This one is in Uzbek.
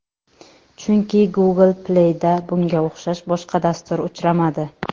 Chunki Google Play’da bunga o‘xshash boshqa dastur uchramadi.